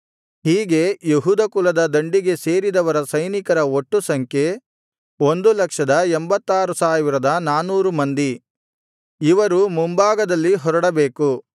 ಹೀಗೆ ಯೆಹೂದ ಕುಲದ ದಂಡಿಗೆ ಸೇರಿದವರ ಸೈನಿಕರ ಒಟ್ಟು ಸಂಖ್ಯೆ 186400 ಮಂದಿ ಇವರು ಮುಂಭಾಗದಲ್ಲಿ ಹೊರಡಬೇಕು